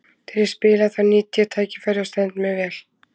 Þegar ég spila þá nýt ég tækifærið og stend mig vel.